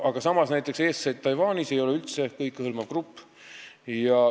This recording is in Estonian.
Aga näiteks "Eestlased Taiwanis" ei ole üldse kõikehõlmav grupp.